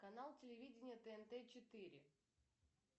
канал телевидения тнт четыре